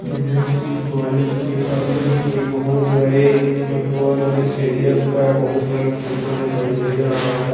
यह किसी कॉलेज के अंदर के बहुत बड़े फ़ुटबॉल स्टेडियम का बहुत बड़ा फोटो दिखाई दे रहा है ।